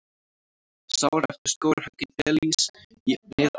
Sár eftir skógarhögg í Belís í Mið-Ameríku.